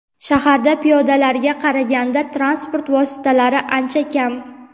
shaharda piyodalarga qaraganda transport vositalari ancha kam.